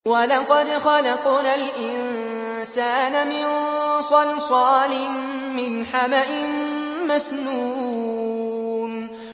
وَلَقَدْ خَلَقْنَا الْإِنسَانَ مِن صَلْصَالٍ مِّنْ حَمَإٍ مَّسْنُونٍ